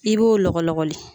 I b'o lɔgɔlɔgɔli